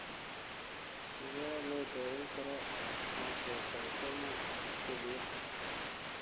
Sidee loo daweyn karaa oncocytoma kelyaha?